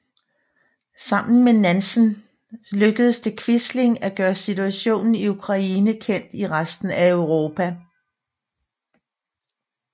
Sammen med Nansen lykkedes det Quisling at gøre situationen i Ukraine kendt i resten af Europa